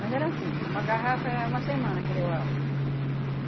Mas era assim, uma garrafa era uma semana que levava.